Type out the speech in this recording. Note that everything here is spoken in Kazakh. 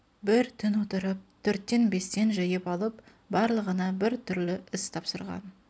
бір түн отырып төрттен бестен жиып алып барлығына бір түрлі іс тапсырған